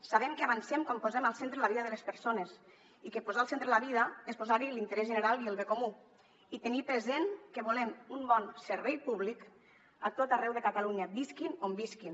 sabem que avancem quan posem al centre la vida de les persones i que posar al centre la vida és posar hi l’interès general i el bé comú i tenir present que volem un bon servei públic a tot arreu de catalunya visquin on visquin